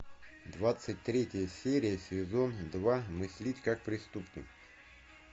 двадцать третья серия сезон два мыслить как преступник